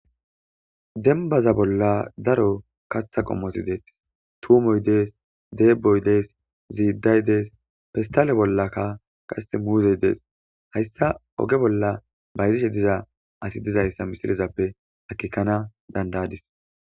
Dembaza bolla daro katha qomoti beetosona tuumoy de'es ddeboy de'es ziiday de'es pestale bollanka muuze de'es haysa oge bolla bayzishe diza asi dizaysa misilezappe akeekana danda'adis.